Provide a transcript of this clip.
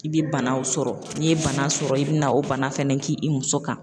I bɛ banaw sɔrɔ n'i ye bana sɔrɔ i bɛ na o bana fɛnɛ k'i muso kan.